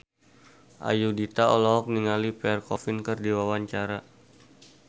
Ayudhita olohok ningali Pierre Coffin keur diwawancara